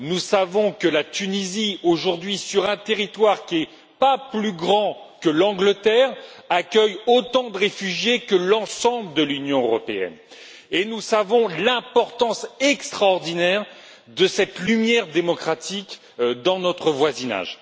Nous savons que la Tunisie, aujourd'hui, sur un territoire qui n'est pas plus grand que l'Angleterre, accueille autant de réfugiés que l'ensemble de l'Union européenne, et nous savons l'importance extraordinaire de cette lumière démocratique dans notre voisinage.